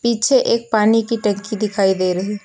पीछे एक पानी की टंकी दिखाई दे रही--